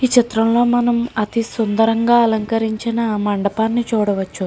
ఈ చిత్రంలోని మనం అతి సుందరంగా అలంకరించిన మండపాన్ని చూడవచ్చు.